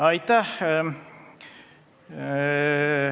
Aitäh!